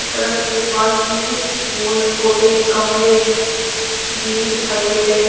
सड़क के पास में कुछ फूल पौधे गमले भी दिखाई दे रहे हैं।